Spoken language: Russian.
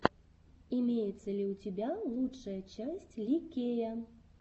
имеется ли у тебя лучшая часть ли кея